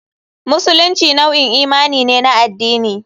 Musulunci nau'in imani ne na addini.